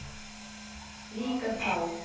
Líka þá.